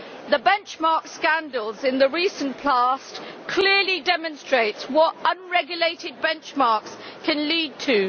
The benchmark scandals in the recent past clearly demonstrate what unregulated benchmarks can lead to.